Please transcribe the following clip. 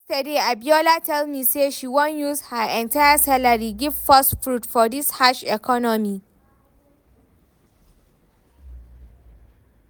Yesterday Abiola tell me say she wan use her entire salary give first fruit, for dis harsh economy